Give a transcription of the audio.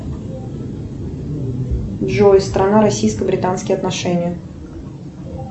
джой страна российско британские отношения